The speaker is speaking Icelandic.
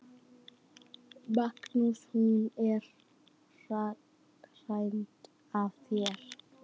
Magnús: Hún er hænd að þér?